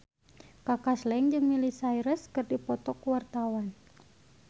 Kaka Slank jeung Miley Cyrus keur dipoto ku wartawan